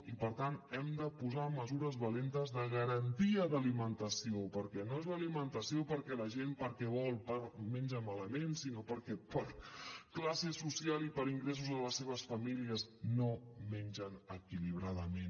i per tant hem de posar mesures valentes de garantia d’alimentació perquè no és l’alimentació perquè la gent perquè vol menja malament sinó perquè per classe social i per ingressos a les seves famílies no mengen equilibradament